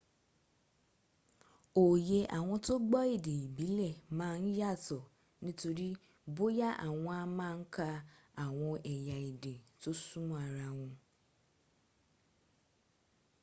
oyè àwọn tó gbọ́ èdè ìbílẹ̀ mà n yàtọ̀ ní torí bóyá àwọn a ma n ka àwọn ẹ̀ya èdè to súnmọ́ ara wọ